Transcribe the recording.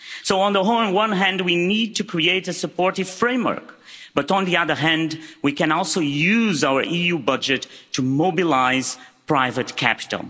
So on the one hand we need to create a supportive framework, but on the other hand, we can also use our EU budget to mobilise private capital.